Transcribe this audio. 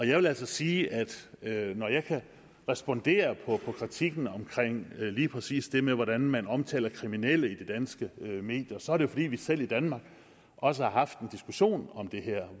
jeg vil altså sige at når jeg kan respondere på kritikken omkring lige præcis det med hvordan man omtaler kriminelle i de danske medier så er det jo fordi vi selv i danmark også har haft en diskussion om det her